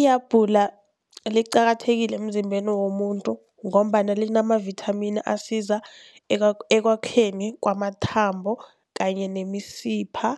Ihabhula liqakathekile emzimbeni womuntu, ngombana linamavithamini asiza ekwakhiweni kwamathambo kanye nemisipha